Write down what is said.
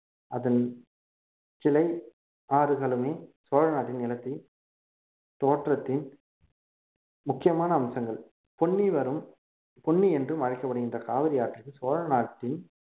அதன் கிளை ஆறுகளுமே சோழ நாட்டின் நிலத்தில் தோற்றத்தின் முக்கியமான அம்சங்கள் பொன்னி வரும் பொன்னி என்றும் அழைக்கப்படுகின்ற காவிரி ஆற்றில் சோழநாட்டின்